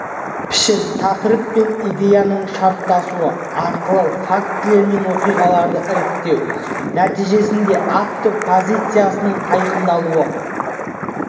пішін тақырып пен идеяның шарттасуы арқылы фактілер мен оқиғаларды іріктеу нәтижесінде автор позициясының айқындалуы